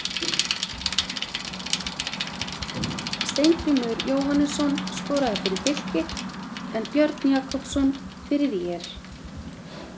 Steingrímur Jóhannesson skorað fyrir Fylki en Björn Jakobsson fyrir ÍR.